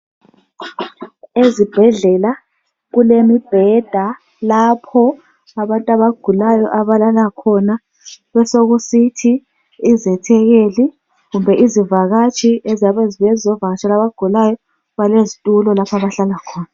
Ezibhedlela kulomubheda lapho abantu abagulayo abalala khona, besekusithi izethekeli kumbe izivakatshi eziyabe zibuya zizovakatshela abagulayo balezitulo lapho abahlala khona.